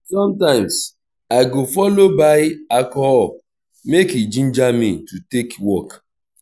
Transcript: somtimes i go follow buy alcohol mek e ginger me to take work